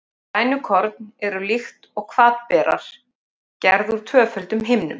Grænukorn eru, líkt og hvatberar, gerð úr tvöföldum himnum.